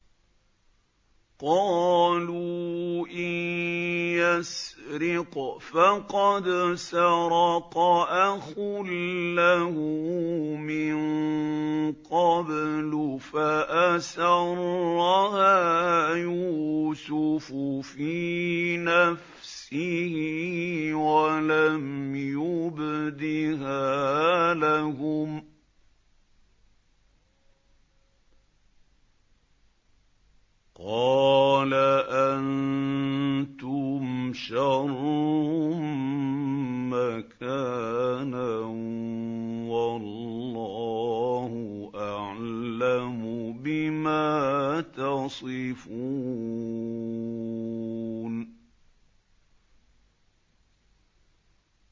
۞ قَالُوا إِن يَسْرِقْ فَقَدْ سَرَقَ أَخٌ لَّهُ مِن قَبْلُ ۚ فَأَسَرَّهَا يُوسُفُ فِي نَفْسِهِ وَلَمْ يُبْدِهَا لَهُمْ ۚ قَالَ أَنتُمْ شَرٌّ مَّكَانًا ۖ وَاللَّهُ أَعْلَمُ بِمَا تَصِفُونَ